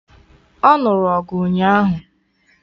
Ọ nụrụ ọgụ ụnyaahụ